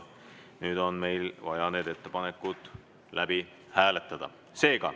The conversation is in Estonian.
Nüüd on meil vaja need ettepanekud läbi hääletada.